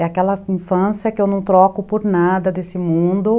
É aquela infância que eu não troco por nada desse mundo.